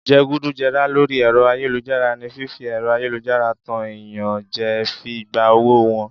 Jẹgúdújẹrá lórí ẹ̀rọ ayélujára ni fífi ẹ̀rọ ayélujára tan èèyàn jẹ fi gba owó wọn